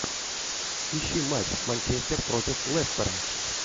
ищи матч манчестер против лестера